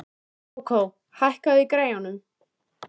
Kókó, hækkaðu í græjunum.